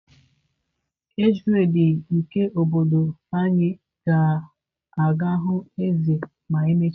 Age grades nke obodo anyị ga-aga hụ eze ma emechaa taa